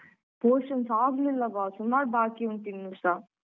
Portions ಆಗ್ಲಿಲ್ಲವಾ ಸುಮಾರ್ ಬಾಕಿ ಉಂಟು ಇನ್ನುಸ.